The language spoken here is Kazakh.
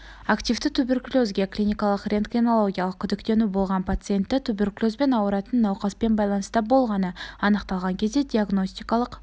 активті туберкулезге клиникалық-рентгенологиялық күдіктену болған пациентті туберкулезбен ауыратын науқаспен байланыста болғаны анықталған кезде диагностикалық